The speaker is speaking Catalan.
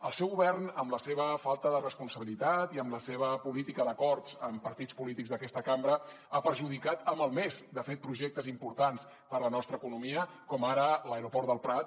el seu govern amb la seva falta de responsabilitat i amb la seva política d’acords amb partits polítics d’aquesta cambra ha perjudicat ha malmès de fet projectes importants per a la nostra economia com ara l’aeroport del prat